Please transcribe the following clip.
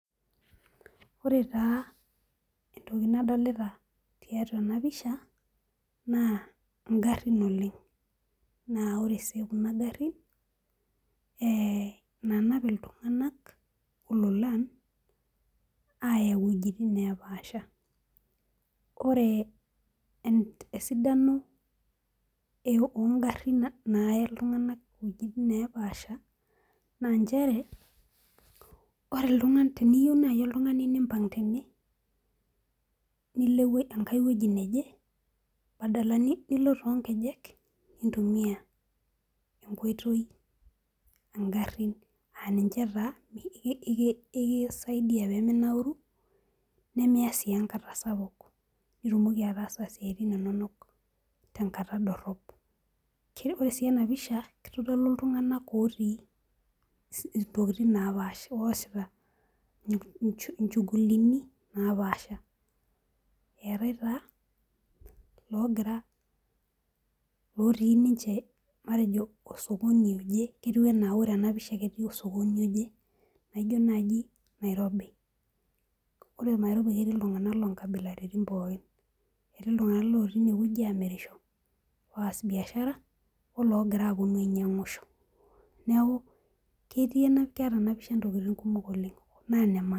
Ore taa entoki nadolita tiatua ena pishaa ingarin naa ore sii kuna garin naanap iltung'anak ololan aaya iweitin naaapasha n inche teniyieu nimpnga tene badala nilo toonkejek nintumia enkoitoi niminauru nimiya sii enkata sapuk nitumoki ataasa isiatin inonok tenkata dorop. keitodolu iltung'anak oosita ilchugulini naapaasha eetai ilooti ninche osokoni oke ketui enaa ore ena pisha jio naaji nairobi etii iloogira apuonu aas biashara ologira apuonu ainyiang'isho neeku ketii ena pisha naa inemaana